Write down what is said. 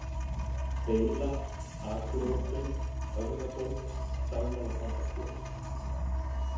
Beila, Akureyjarstöng, Höfðaborg, Dagmálatangasker